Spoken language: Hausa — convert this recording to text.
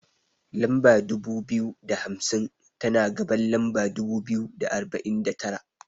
Lamba dubu biyu da hamsin, tana gaban lamba dubu biyu da arba'in da tara.